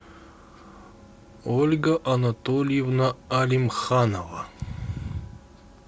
ольга анатольевна алимханова